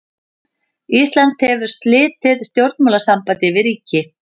Ísland hefur slitið stjórnmálasambandi við ríki.